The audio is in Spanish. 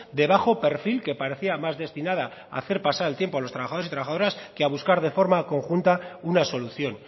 de bajo perfil que parecía más destinada a hacer pasar el tiempo a los trabajadores y trabajadoras que a buscar de forma conjunta una solución